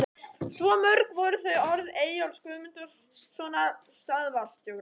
Svo mörg voru þau orð Eyjólfs Guðmundssonar, stöðvarstjóra.